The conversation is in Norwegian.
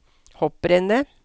hopprennet